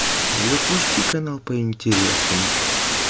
запусти канал по интересам